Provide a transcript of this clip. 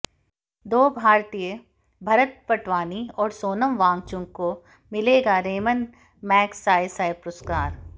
दो भारतीय भरत वटवाणी और सोनम वांगचुक को मिलेगा रेमन मैगसायसाय पुरस्कार